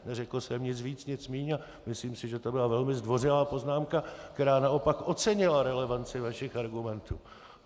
Neřekl jsem nic víc, nic míň, a myslím si, že to byla velmi zdvořilá poznámka, která naopak ocenila relevanci vašich argumentů.